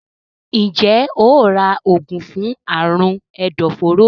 Njé óò rà oògùn fún Àrùn ẹdọforó?